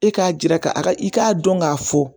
E k'a jira ka a ka i k'a dɔn k'a fɔ